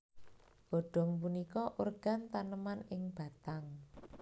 Godong punika organ taneman ing batang